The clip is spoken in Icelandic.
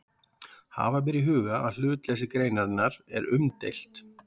Hafa ber í huga að hlutleysi greinarinnar er umdeilt.